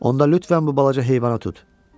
Onda lütfən bu balaca heyvana tut.